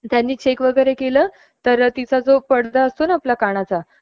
त्यांनी चेक वेगैरे केलं तर तिचा जो पडदा असतो ना कानाचा